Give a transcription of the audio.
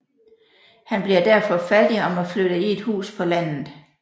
Han bliver derfor fattig og må flytte i et hus på landet